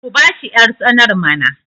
ku bashi yartsanar mana!